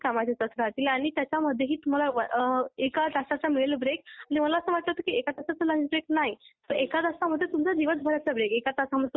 Shift आणि rotational होत्या. म्हणजे ईवनिंग शिफ्ट पण राहणार होती. मुलींनासुद्धा रात्री अकरा पर्यंत.